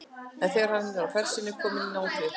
En þegar hann var á ferð sinni kominn í nánd við